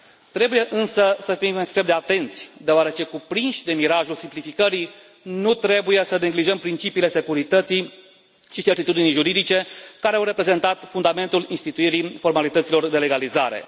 Trebuie însă să fim extrem de atenți, deoarece, cuprinși de mirajul simplificării, nu trebuie să neglijăm principiile securității și certitudinii juridice, care au reprezentat fundamentul instituirii formalităților de legalizare.